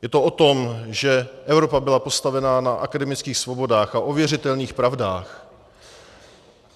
Je to o tom, že Evropa byla postavena na akademických svobodách a ověřitelných pravdách.